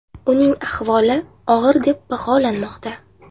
Uning ahvoli og‘ir deb baholanmoqda.